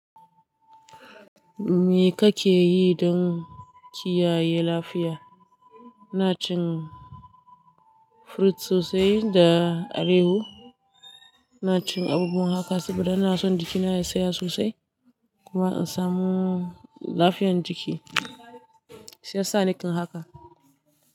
Me kake yi don kiyaye lafiya? Ina cin fruit sosai da alehu. Ina cin abubuwan haka saboda ina so jikina ya tsaya sosai kuma in samu lafiyan jiki. Shi yasa nikin haka.